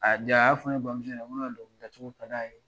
A ja a y'a fɔ ne bamuso ɲɛna ko ne ka dɔnkilidacogo ka d'a ye